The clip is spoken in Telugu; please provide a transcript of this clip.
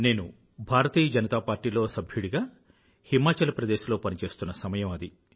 నేను భారతీయ జనతా పార్టీ లో సంస్థ సభ్యుడిగా హిమాచల్ ప్రదేశ్ లో పనిచేస్తున్న సమయం అది